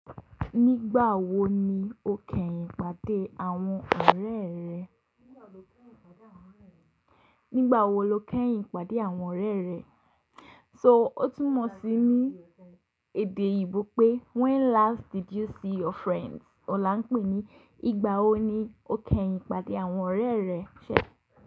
Nigba wo ni o keyin pade awon ore re. Nígbà wo lo kẹ́yìn pàdé àwọn ọ̀rẹ́ rẹ? So ó tún mọ̀ sí ní èdè oyinbo pé when last did you see your friends? Ọlá ń pè ní ìgbà wo ni o kẹ́yìn pàdé àwọn ọ̀rẹ́ rẹ ṣẹ̀?